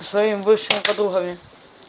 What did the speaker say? со своими бывшими подругами